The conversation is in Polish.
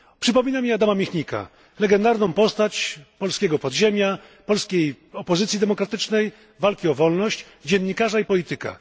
Przypomina mi Adama Michnika, legendarną postać polskiego podziemia, polskiej opozycji demokratycznej, walki o wolność, dziennikarza i polityka.